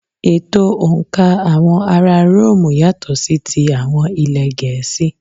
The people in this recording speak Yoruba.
Ètò̀ òǹkà àwọn ara róòmù yàtọ̀ sí ti àwọn ilẹ̀ Gẹ̀ẹ́sì.